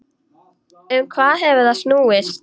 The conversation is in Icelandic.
Um hvað hefur það snúist?